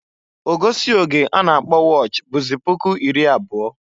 Ogosi oge a na-akpọ wọch bụzị puku iri abụọ.